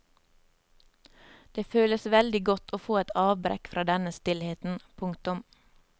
Det føles veldig godt å få et avbrekk fra denne stillheten. punktum